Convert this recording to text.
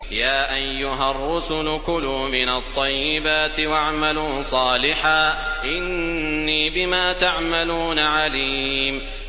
يَا أَيُّهَا الرُّسُلُ كُلُوا مِنَ الطَّيِّبَاتِ وَاعْمَلُوا صَالِحًا ۖ إِنِّي بِمَا تَعْمَلُونَ عَلِيمٌ